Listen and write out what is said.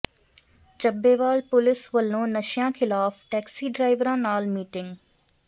Chabbewal police ਵੱਲੋਂ ਨਸ਼ਿਆਂ ਿਖ਼ਲਾਫ਼ ਟੈਕਸੀ ਡਰਾਈਵਰਾਂ ਨਾਲ ਮੀਟਿੰਗ